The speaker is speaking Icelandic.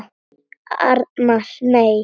Arnar: Nei.